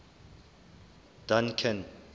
duncan